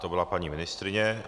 To byla paní ministryně.